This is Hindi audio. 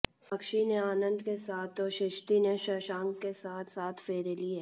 साक्षी ने आनंद के साथ तो सृष्टि ने शशांक के साथ सात फेरे लिए